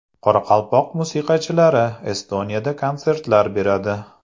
Qoraqalpoq musiqachilari Estoniyada konsertlar beradi.